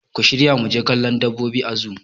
Ku shirya muje kallon dabbobi a zoo